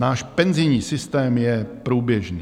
Náš penzijní systém je průběžný.